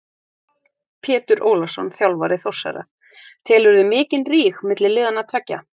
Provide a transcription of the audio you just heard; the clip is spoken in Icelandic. Pétur Ólafsson þjálfari Þórsara: Telurðu mikinn ríg milli liðanna tveggja?